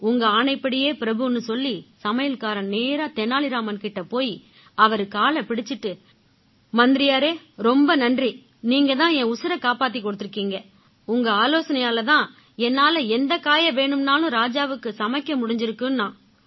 உங்க ஆணைப்படியே பிரபுன்னு சொல்லி சமையல்காரன் நேரா தெனாலி ராமன் கிட்ட போயி அவரு காலைப் பிடிச்சுக்கிட்டு மந்திரியாரே ரொம்ப நன்றி நீங்க தான் என் உசிரைக் காப்பாத்திக் கொடுத்திருக்கீங்க உங்க ஆலோசனையால தான் என்னால எந்தக் காயை வேணும்னாலும் ராஜாவுக்கு சமைக்க முடிஞ்சிருக்குன்னான்